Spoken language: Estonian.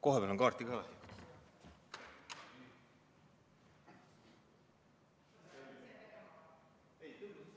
Kohapeal on kaarti ka vaja.